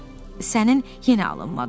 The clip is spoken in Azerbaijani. Sənin yenə alınmadı.